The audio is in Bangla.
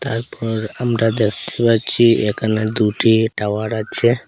তারপর আমরা দেখতে পাচ্ছি এখানে দুটি টাওয়ার আছে।